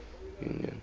union